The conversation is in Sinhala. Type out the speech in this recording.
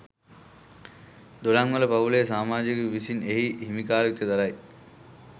දොඩංවල පවුලේ සාමාජිකයකු විසින් එහි හිමිකාරිත්වය දරයි.